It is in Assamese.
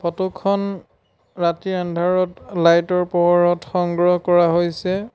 ফটো খন ৰাতিৰ আন্ধাৰত লাইট ৰ পোহৰত সংগ্ৰহ কৰা হৈছে।